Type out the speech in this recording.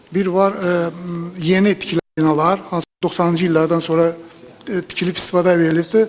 Biri var yeni tikilən binalar, hansılar ki, 90-cı illərdən sonra tikilib istismara verilibdir.